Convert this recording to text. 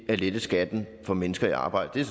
at lette skatten for mennesker i arbejde det er